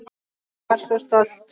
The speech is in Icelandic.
Ég var svo stolt.